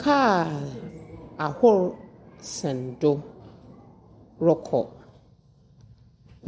Kaar ahorow sɛn do rekɔ.